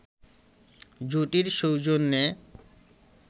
জুটির সৌজন্যে